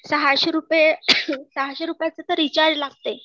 सहाशे रुपये, सहाशे रुपायचं तर रीचार्ज लागतय